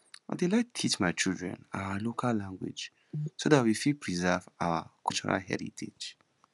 i dey like teach my children our local language so that we fit preserve our cultural heritage